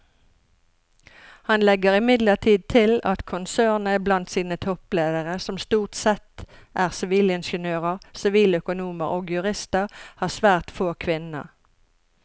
Han legger imidlertid til at konsernet blant sine toppledere som stort sette er sivilingeniører, siviløkonomer og jurister har svært få kvinner.